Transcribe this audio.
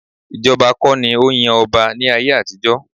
Ìjọba kọ́ ni ó ń yan ọba ní ayé àtijọ́